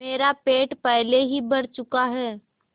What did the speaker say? मेरा पेट पहले ही भर चुका है